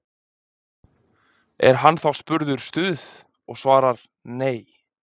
Er hann þá spurður Stuð? og svarar: Nei.